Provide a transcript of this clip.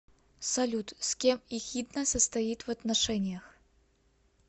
салют с кем эхидна состоит в отношениях